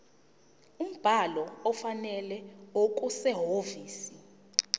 umbhalo ofanele okusehhovisi